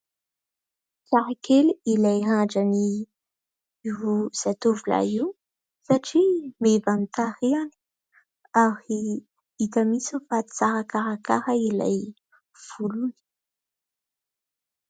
Tsara kely ilay randran'io zatovolahy io satria meva amin'ny tarehiny , ary hita mihitsy fa tsara karakara ilay volony.